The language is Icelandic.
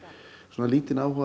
lítinn áhuga